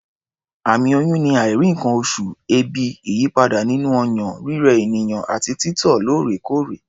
Àmì oyún ni àìrí nǹkan-oṣù, èébì, ìyípadà nínú ọyàn, rírẹ ènìyàn àti títọ̀ lóòrèkóòrè.